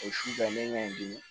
O cira n bɛ ɲɔgɔn dimi